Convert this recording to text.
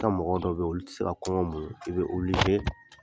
I ka mɔgɔ dɔw bɛ yen olu tɛ se ka kɔngɔ muɲu i bɛ